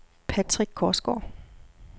Patrick Korsgaard